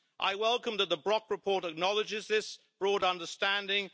I welcome that the Elmar Brok report acknowledges this broad understanding.